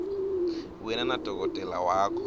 wena nadokotela wakho